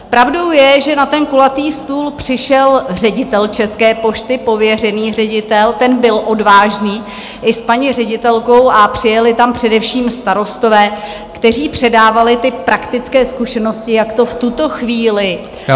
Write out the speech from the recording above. Pravdou je, že na ten kulatý stůl přišel ředitel České pošty, pověřený ředitel, ten byl odvážný, i s paní ředitelkou, a přijeli tam především starostové, kteří předávali ty praktické zkušenosti, jak to v tuto chvíli...